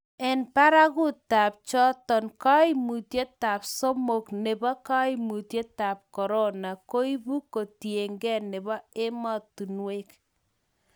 eng' barakutab choto, kaimutietab somok nebo kaimutietab korona koibu katiegei nebo emotinwek